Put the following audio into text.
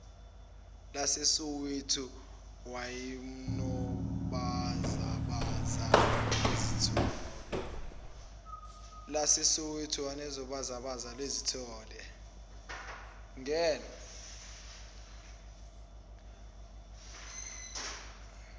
lasesoweto wayenobhazabhaza wesitolo